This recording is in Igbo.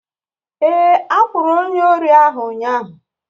Ee, a kpụrụru onye ọchị ahụ ụnyaahụ